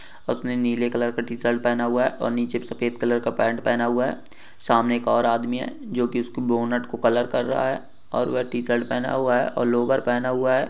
उसने नीले कलर का टीशर्ट पहना हुआ है और निचे सफ़ेद कलर का पेन्ट पहना हुआ है | सामने एक और आदमी है जो कि उस्की बोनट को कलर कर रहा है और वो टीशर्ट पहना हुआ है और वो लोवर पहना हुआ है ।